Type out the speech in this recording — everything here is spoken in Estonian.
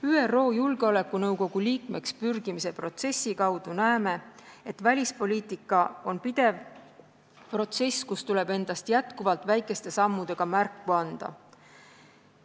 ÜRO Julgeolekunõukogu liikmeks pürgimise protsessi kaudu näeme, et välispoliitika on pidev protsess, kus tuleb endast jätkuvalt väikeste sammudega märku anda.